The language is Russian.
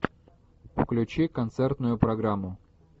включи концертную программу